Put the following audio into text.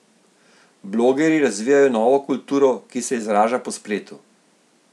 Blogerji razvijajo novo kulturo, ki se izraža po spletu.